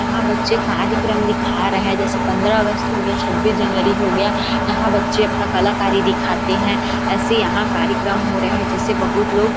यहाँ बच्चे कार्यक्रम दिखा रहा है जैसे पंद्रह अगस्त हो गया है छब्बीस जनवरी हो गया है यहाँ बच्चे अपना कलाकारी दिखाते है ऐसे यहाँ कार्यक्रम हो रहे है जिसे बहुत लोग--